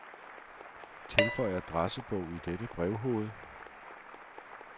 Tilføj adressebog i dette brevhoved.